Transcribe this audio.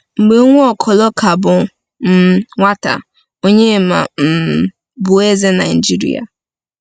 Mgbe Nwaokolo ka bụ um nwata, Onyema um bụ eze Nigeria.